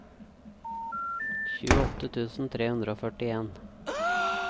tjueåtte tusen tre hundre og førtien